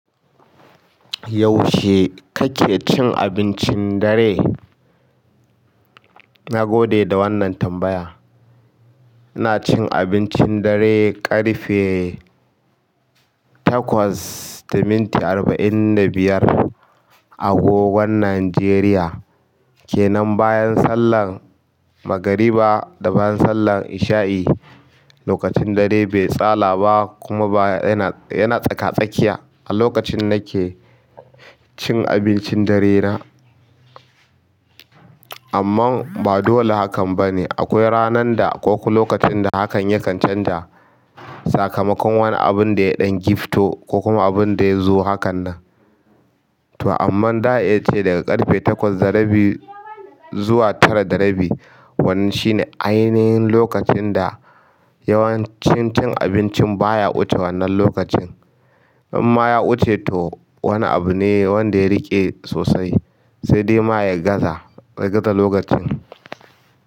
Yaushe kake cin abincin dare? Na gode da wannan tambaya. Ina cin abincin dare ƙarfe takwas da minti arba'in da biyar a agogon Najeriya, ke nan bayan sallar magariba da bayan sallar isha'i. Lokacin dare bai tsala ba kuma ba yana yana tsaka-tsakiya a lokacin nake cin abincin dare na. Amman ba dole hakan ba ne. Akwai ranan da ko kuma lokacin da hakan yakan canza sakamakon wani abun da ya ɗan gifto ko kuma abun da ya zo hakanan. To amma, ɗa'a iya ce daga ƙarfe takwas da rabi zuwa tara da rabi. Wannan shi ne ainihin lokacin da yawancin cin abincin baya wuce wannan lokacin. In ma ya wuce to wani abu ne wanda ya riƙe sosai sai dai ma ya gaza. Ya gaza lokacin.